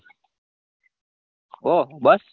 ઓહ બસ